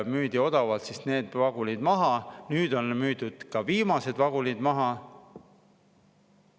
Müüdi odavalt need vagunid maha, nüüd on ka viimased vagunid maha müüdud.